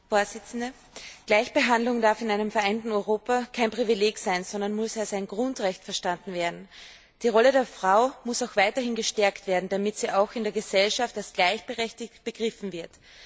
Frau Präsidentin! Gleichbehandlung darf in einem vereinten Europa kein Privileg sein, sondern muss als ein Grundrecht verstanden werden. Die Rolle der Frau muss weiterhin gestärkt werden, damit sie auch in der Gesellschaft als gleichberechtigt begriffen wird.